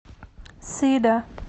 сида